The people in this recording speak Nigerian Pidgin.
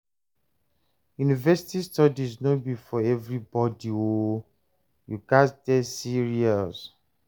University studies no be for everybodi o, you gats dey serious.